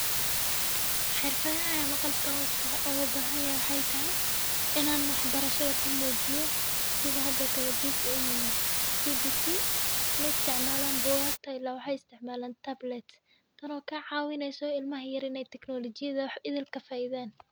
Xirfada ayaa ma qalka hoosta oga bahanya wexey tahay inaan wax barashada ku muujiyo sida hadoo kale CBC, ma isticmaalaan buugaagta ilaa waxay isticmaalaan tablet. Tano kaa caawineyso ilmah yar tagnoolajiyadda wax idilka faa iideen.